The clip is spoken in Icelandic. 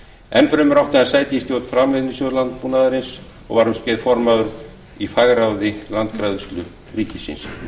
enn fremur átti hann sæti í stjórn framleiðnisjóðs landbúnaðarins og var um skeið formaður í fagráði landgræðslu ríkisins